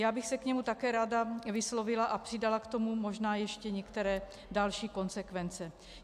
Já bych se k němu také ráda vyslovila a přidala k tomu možná ještě některé další konsekvence.